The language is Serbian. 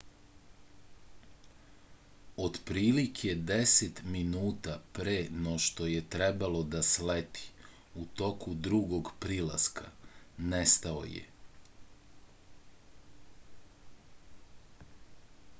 otprilike deset minuta pre no što je trebalo da sleti u toku drugog prilaska nestao je